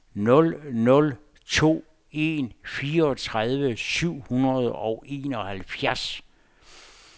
nul nul to en fireogtredive syv hundrede og enoghalvfjerds